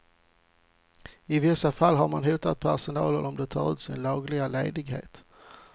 I vissa fall har man hotat personalen om de tar ut sin lagliga ledighet.